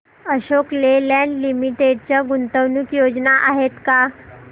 Ashok Leyland limited च्या गुंतवणूक योजना आहेत का